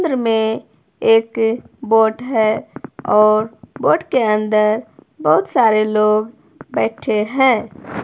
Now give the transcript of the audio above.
समुंद्र अंदर में एक बोट है और बोट के अंदर बहुत सारे लोग बैठे हैं।